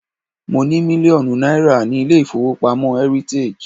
Mo ní mílíọ̀nù náírà ní ilé-ìfowópamọ́ heritage.